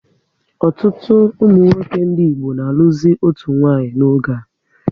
Ọtụtụ ụmụnwoke ndị Igbo na alụzi otu nwanyị n'oge a